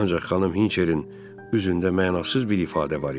Ancaq xanım Hinçerin üzündə mənasız bir ifadə var idi.